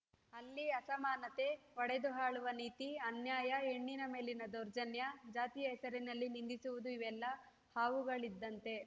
ಅಲ್ಲಿ ಅಸಮಾನತೆ ಒಡೆದು ಆಳುವ ನೀತಿ ಅನ್ಯಾಯ ಹೆಣ್ಣಿನ ಮೇಲಿನ ದೌರ್ಜನ್ಯ ಜಾತಿಯ ಹೆಸರಲ್ಲಿ ನಿಂದಿಸುವುದು ಇವೆಲ್ಲ ಹಾವುಗಳಿದ್ದಂತೆ